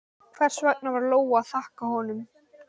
Hvers vegna var Lóa að þakka honum?